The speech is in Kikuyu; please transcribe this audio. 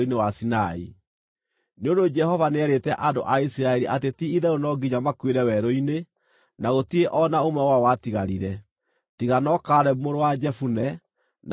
Nĩ ũndũ Jehova nĩeerĩte andũ a Isiraeli atĩ ti-itherũ no nginya makuĩre werũ-inĩ, na gũtirĩ o na ũmwe wao watigarire, tiga no Kalebu mũrũ wa Jefune, na Joshua mũrũ wa Nuni.